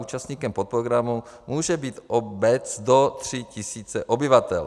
Účastníkem podprogramu může být obec do 3 tisíc obyvatel.